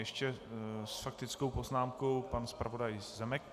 Ještě s faktickou poznámkou pan zpravodaj Zemek.